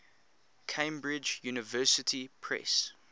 cambridge university press